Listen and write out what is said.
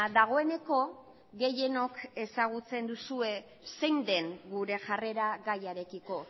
dagoeneko gehienok ezagutzen duzue zein den gure jarrera gaiarekiko